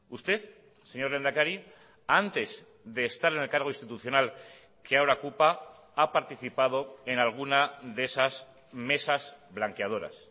usted señor lehendakari antes de estar en el cargo institucional que ahora ocupa ha participado en alguna de esas mesas blanqueadoras